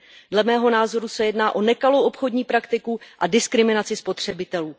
Dle mého názoru se jedná o nekalou obchodní praktiku a diskriminaci spotřebitelů.